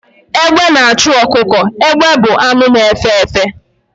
Egbe na-achụ ọkụkọ. Egbe bụ anụ na-efe efe